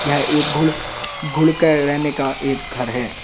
यह एक घुड़ घुड़ का रहने का एक घर है।